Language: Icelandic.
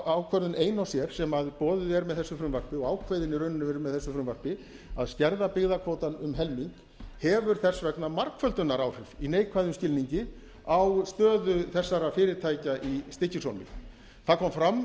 ákvörðun ein og sér sem boðuð er með þessu frumvarpi og ákveðin í raun og veru með þessu frumvarpi að skerða byggðakvótann um helming hefur þess vegna margföldunaráhrif í neikvæðum skilningi á stöðu þessara fyrirtækja í stykkishólmi það kom fram